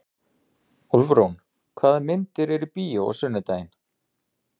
Úlfrún, hvaða myndir eru í bíó á sunnudaginn?